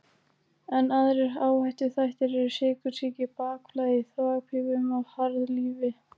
Enn aðrir áhættuþættir eru sykursýki, bakflæði í þvagpípum og harðlífi.